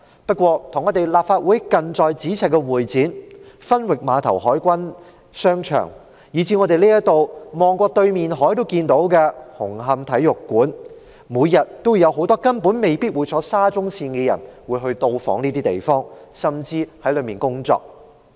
而與立法會近在咫尺的會展中心、分域碼頭海軍商場，以至在我們看到對岸的紅磡體育館，這些地方每天都有很多未必會乘搭沙中線的人到訪，甚至在裏面工作。